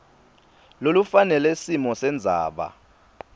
lolufanele simo sendzaba